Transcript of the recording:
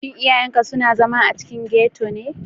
Shin iyayenka suna zama a cikin ghetto ne?